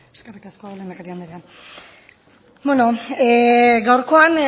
eskerrik asko lehendakari andrea beno gaurkoan